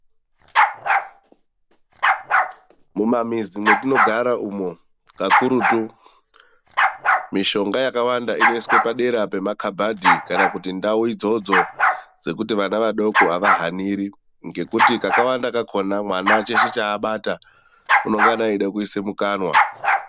Mumamizi mwetinogara umu, kakurutu mishonga yakawanda inoiswe padera pemakhabhadhi kana kuti ndau idzodzo dzekuti vana vadoko avahaniri. Ngekuti kakawanda kakhona mwana cheshe chaabata unongana eida kuisa mukanwa.